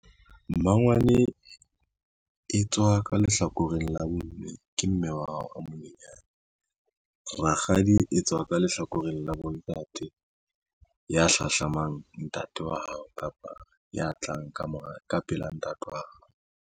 Mmangwane e tswa ka lehlakoreng la bomme, ke mme wa hao a monyenyane. Rakgadi e tswa ka lehlakoreng la bontate, ya hlahlamang ntate wa hao kapa ya tlang ka pela ntate wa hao.